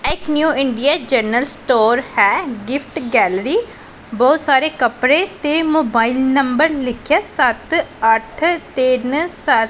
ਇਹ ਇੱਕ new Indian general store ਹੈ ਗਿਫਟ ਗੈਲਰੀ । ਬਹੁਤ ਸਾਰੇ ਕੱਪੜੇ ਤੇ ਮੋਬਾਈਲ ਨੰਬਰ ਲਿਖਿਆ ਸੱਤ ਅੱਠ ਤਿੰਨ ਸੱਤ --